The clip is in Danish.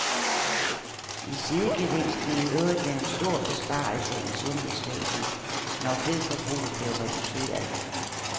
En sidegevinst ville i øvrigt være en stor besparelse i sundhedsvæsenet, når kødforbruget blev reduceret.